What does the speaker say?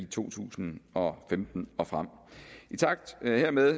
to tusind og femten og frem i takt hermed